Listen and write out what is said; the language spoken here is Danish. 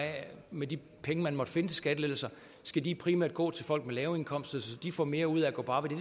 med de penge man måtte finde til skattelettelser skal de primært gå til folk med lave indkomster så de får mere ud af at gå på arbejde